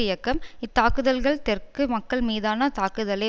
இயக்கம் இத்தாக்குதல்கள் தெற்கு மக்கள் மீதான தாக்குதலே